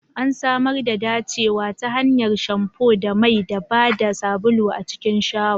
An samar da dacewa ta hanyar shamfu da mai ba da sabulu a cikin shawa.